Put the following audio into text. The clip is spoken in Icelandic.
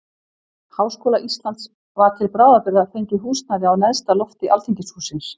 Háskóla Íslands var til bráðabirgða fengið húsnæði á neðsta lofti alþingishússins.